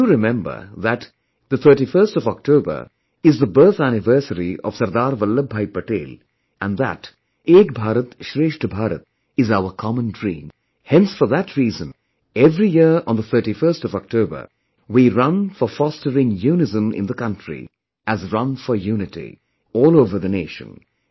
You do remember that, 31stOctober is the birth anniversary of Sardar Vallabhbhai Patel and that 'Ek Bharat Shreshtha Bharat' is our common dream; hence for that reason, every year on 31 October, we run for fostering unison in the country as 'Run for Unity', all over the nation